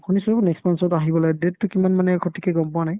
শুনিছো next month ত আহিব লাগে date তো কিমান মানে সঠিককে গম পোৱা নাই ?